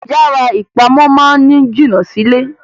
Yara ipamọ máa ni jina Si ilé.